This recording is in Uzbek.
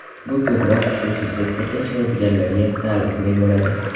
Bu ko‘proq xususiy sektorda ishlaydiganlarga taalluqli bo‘ladi.